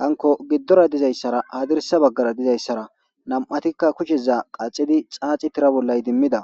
hanko giddora dizayssara hadirsa baggara dizayssara nam7atikka kusheza qaxidi caaci tira bollay dimmida